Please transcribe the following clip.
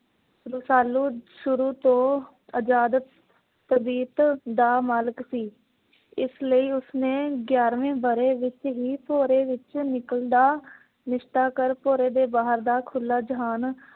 ਰਸਾਲੂ ਸ਼ੁਰੂ ਤੋਂ ਅਜਾਦ ਤਬੀਤ ਦਾ ਮਾਲਕ ਸੀ। ਇਸ ਲਈ ਉਸ ਨੇ ਗਿਆਰਵੇਂ ਵਰ੍ਹੇ ਵਿੱਚ ਹੀ ਭੋਰੇ ਵਿੱਚ ਨਿਕਲਣ ਦਾ ਨਿਸਚਾ ਕਰ ਭੋਰੇ ਦੇ ਬਾਹਰ ਦਾ ਖੁਲਾ ਜਹਾਨ